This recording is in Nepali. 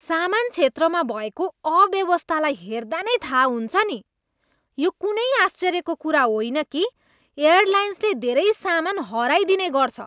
सामान क्षेत्रमा भएको अव्यवस्थालाई हेर्दा नै थाहा हुन्छ नि, यो कुनै आश्चर्यको कुरा होइन कि एयरलाइन्सले धेरै सामान हराइदिने गर्छ।